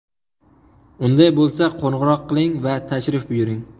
Unday bo‘lsa, qo‘ng‘iroq qiling va tashrif buyuring!